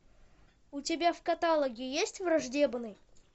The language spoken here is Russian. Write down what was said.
у тебя в каталоге есть враждебный